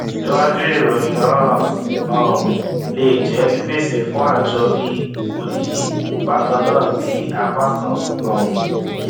síwájú ìròyìn náà um lé jẹ pípèsè fún ààjọ bí odidi bakanna bí apákan um